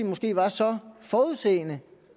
måske var så forudseende